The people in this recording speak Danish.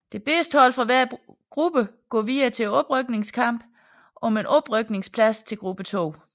Det bedste hold fra hver gruppe går videre til oprykningskampen om en oprykningsplads til gruppe 2